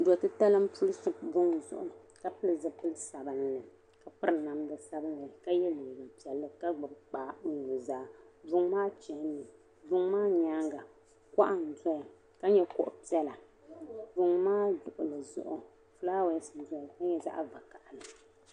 Do' titali m-puli ʒi buŋa zuɣu ka pili zipil' sabilinli ka piri namda sabilinli ka ye liiga piɛlli ka gbibi kpaa o nuzaa. Buŋa maa chanimi buŋa maa nyaaŋga kuɣa n-dɔya ka nyɛ kuɣ' piɛla. Buŋa maa luɣili zuɣu fulaawaasi n-dɔya ka nyɛ zaɣ' vakahili.